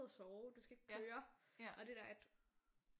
Og sove du skal ikke køre og det der at